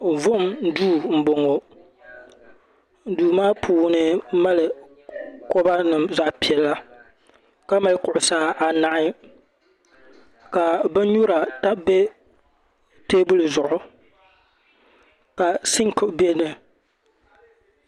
Vuhim duu mboŋɔ duu maa puuni mali koba nima zaɣa piɛla ka mali kuɣusi anahi ka bin nyura tam teebuli zuɣu ka sinki beni.